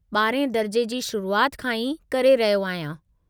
12हें दर्जे जी शुरुआति खां ई करे रहियो आहियां।